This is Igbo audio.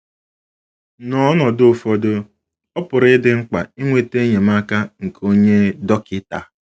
N’ọnọdụ ụfọdụ, ọ pụrụ ịdị mkpa inweta enyemaka nke onye dọkịta.